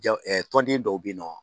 tɔnden dɔw be yen nɔ